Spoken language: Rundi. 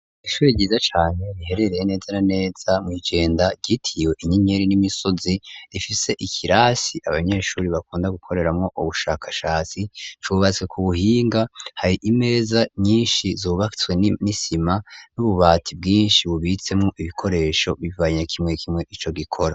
Ishuri ryiza cane riherereye neza na neza mwi Jenda, ryitiriwe Inyenyeri n'Imisozi, rifise ikirasi abanyeshuri bakunda gukoreramwo ubushakashatsi, cubatswe ku buhinga, hari imeza nyinshi zubatswe n'imisima, n'ububati bwinshi bubitsemwo ibikoresho, bivanye kimwe kimwe ico gikora.